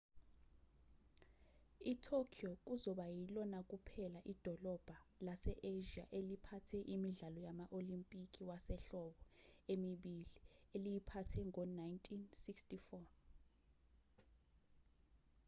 itokyo kuzoba ilona kuphela idolobha lase-asia eliphathe imidlalo yama-olimpiki wasehlobo emibili eliyiphathe ngo-1964